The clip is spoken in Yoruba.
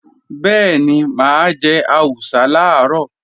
Bẹ́ẹ̀ni, mà á jẹ àwùsá làárọ̀